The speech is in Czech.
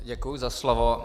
Děkuji za slovo.